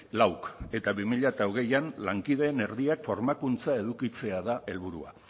lauk eta bi mila hogeian lankideen erdiak formakuntza edukitzea da helburua